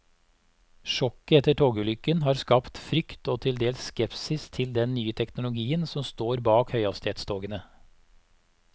Sjokket etter togulykken har skapt frykt og til dels skepsis til den nye teknologien som står bak høyhastighetstogene.